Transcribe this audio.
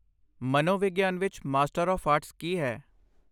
ਮਨੋਵਿਗਿਆਨ ਵਿੱਚ master of arts ਕੀ ਹੈ?